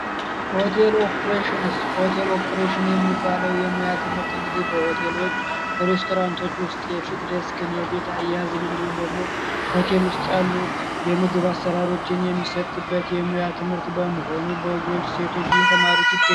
ሆቴል ኦፕሬሽንስ ሆቴል ኦፕሬሽን የሚባለው የሙያ ትምህርት እንግዲህ በሆቴሎች በሬስቶራንቶች ውስጥ የፊት ዴስክን ፣የቤት አያያዝን እንዲሁም ደግሞ ሆቴል ውስጥ ያሉ የሙያ ትምህርትን የሚሰጡ በመሆኑ ሆቴል ውስጥ ያሉ ሴቶች እየተማሩት ይገኛል።